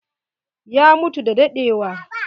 Ya mutu da dadewa.